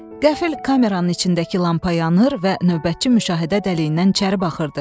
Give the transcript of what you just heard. Qəfıl kameranın içindəki lampa yanır və növbətçi müşahidə dəliyindən içəri baxırdı.